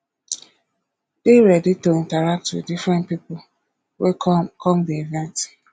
dey ready to interact with different pipo wey come come di event